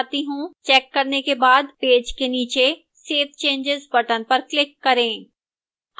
check करने के बाद पेज के नीचे save changes button पर click करें